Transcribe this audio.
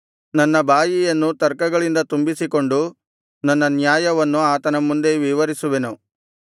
ನನ್ನ ಬಾಯಿಯನ್ನು ತರ್ಕಗಳಿಂದ ತುಂಬಿಸಿಕೊಂಡು ನನ್ನ ನ್ಯಾಯವನ್ನು ಆತನ ಮುಂದೆ ವಿವರಿಸುವೆನು